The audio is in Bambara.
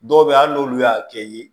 Dɔw bɛ yen hali n'olu y'a kɛ ye